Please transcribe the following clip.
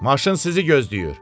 Maşın sizi gözləyir.